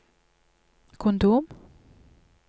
kondom